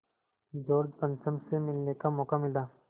George पंचम से मिलने का मौक़ा मिला